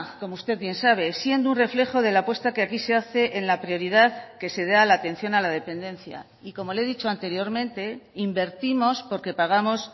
como usted bien sabe siendo un reflejo de la apuesta que aquí se hace en la prioridad que se da a la atención a la dependencia y como le he dicho anteriormente invertimos porque pagamos